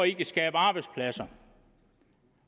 i kan skabe arbejdspladser